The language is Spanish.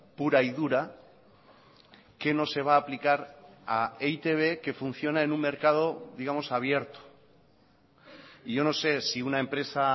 pura y dura qué no se va a aplicar a e i te be que funciona en un mercado digamos abierto y yo no sé si una empresa